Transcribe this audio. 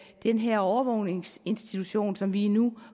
den her overvågningsinstitution som vi nu